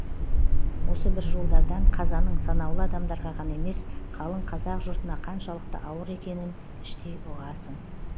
осы бір жолдардан қазаның санаулы адамдарға ғана емес қалың қазақ жұртына қаншалықты ауыр екенін іштей ұғасың